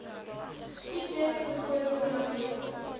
siektes byvoorbeeld diabetes